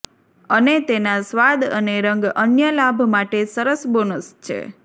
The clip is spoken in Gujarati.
અને તેના સ્વાદ અને રંગ અન્ય લાભ માટે સરસ બોનસ છે